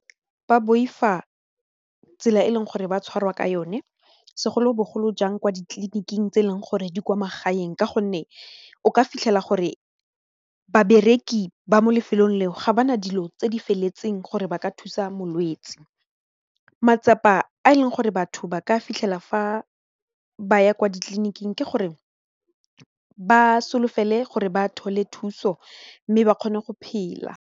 Ba boifa tsela e leng gore ba tshwarwa ka yone segolobogolo jang kwa ditleliniking tse e leng gore di kwa magaeng ka gonne o ka fitlhela gore babereki ba mo lefelong leo ga ba na dilo tse di feletseng gore ba ka thusa molwetsi, matsapa a e leng gore batho ba ka fitlhela fa ba ya kwa ditleliniking ke gore ba solofele gore ba thole thuso mme ba kgone go phela.